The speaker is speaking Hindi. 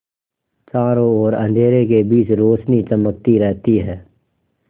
चारों ओर अंधेरे के बीच रौशनी चमकती रहती है